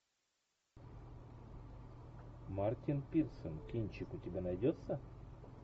мартин пирсон кинчик у тебя найдется